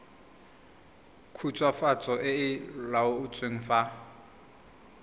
khutswafatso e e laotsweng fa